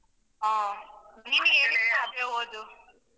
ಹಾ ನಿಮಿಗೆ ಆಗ್ಬೋದು.